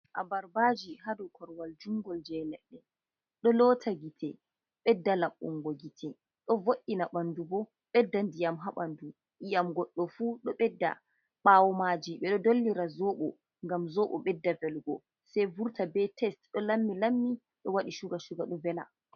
Abarbaji ha dou korwal jungol je leɗɗe ɗo lota gite, ɓedda laɓbungo gite, ɗo vod’ina ɓandu bo ɓedda ndiyam ha ɓandu iyam goɗɗo fu ɗo ɓedda bawo maji ɓe ɗo dollira zobo gam zobo ɓedda felugo sai vurta be test ɗo lammi lammi ɗo waɗi cuga shuga ɗo vela.